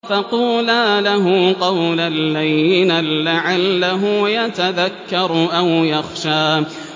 فَقُولَا لَهُ قَوْلًا لَّيِّنًا لَّعَلَّهُ يَتَذَكَّرُ أَوْ يَخْشَىٰ